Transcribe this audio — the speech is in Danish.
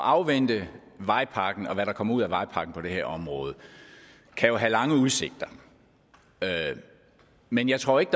at afvente vejpakken og hvad der kommer ud af vejpakken på det her område kan have lange udsigter men jeg tror ikke